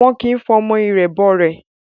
Wọn kì ń fọmọ irẹ̀ bọ rẹ̀